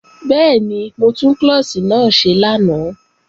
Bẹ́ẹ̀ni, mo tún klọ́ọ̀ṣì náà ṣe lánàá